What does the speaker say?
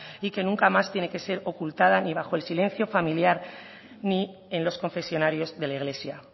y que nunca más tiene que ser ocultada ni bajo el silencio familiar ni en los confesionarios de la iglesia